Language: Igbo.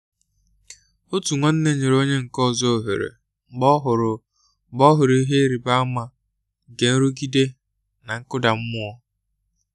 otu nwanne nyere onye nke ọzọ ohere mgbe ọ hụrụ mgbe ọ hụrụ ihe ịrịba ama nke nrụgide na nkụda mmụọ.